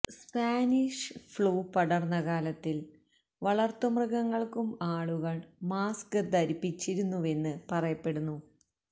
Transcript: Spanish flu പടര്ന്ന കാലത്തില് വളര്ത്തുമൃഗങ്ങള്ക്കും ആളുകള് മാസ്ക് ധരിപ്പിച്ചിരുന്നുവെന്ന് പറയപ്പെടുന്നു